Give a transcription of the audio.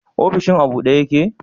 Ofishin a bude yake?